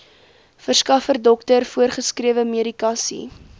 verskaffer dokter voorgeskrewemedikasie